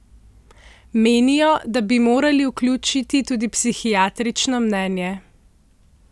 Menijo, da bi morali vključiti tudi psihiatrično mnenje.